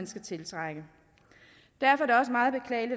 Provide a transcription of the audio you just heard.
skal tiltrække derfor